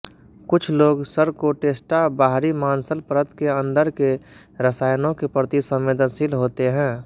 कुछ लोग सरकोटेस्टा बाहरी मांसल परत के अन्दर के रसायनों के प्रति संवेदनशील होते हैं